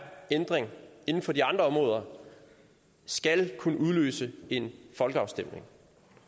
ændring inden for de andre områder skal kunne udløse en folkeafstemning